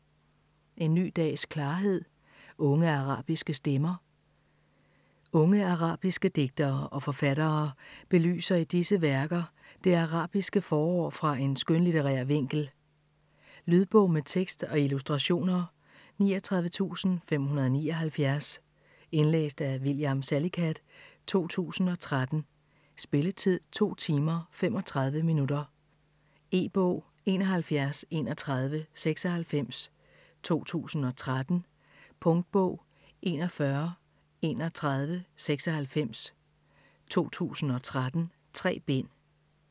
En ny dags klarhed: unge arabiske stemmer Unge arabiske digtere og forfattere belyser i disse værker det arabiske forår fra en skønlitterær vinkel. Lydbog med tekst og illustrationer 39579 Indlæst af William Salicath, 2013. Spilletid: 2 timer, 35 minutter. E-bog 713196 2013. Punktbog 413196 2013. 3 bind.